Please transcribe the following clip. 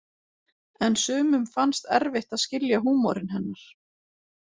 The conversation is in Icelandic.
En sumum fannst erfitt að skilja húmorinn hennar.